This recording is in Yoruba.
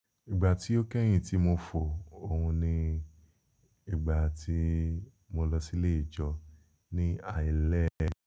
Ìgbà tí ó kẹ́yìn tí mo fò òun ni ìgbà tí mo lọ sí ilé ìjọ ní alẹ́.